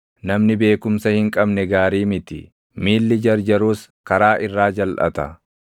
Namni beekumsa hin qabne gaarii miti; miilli jarjarus karaa irraa jalʼata.